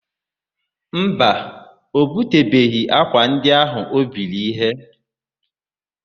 Mba, o butebeghị ákwà ndị áhụ̀ ha biri íhé.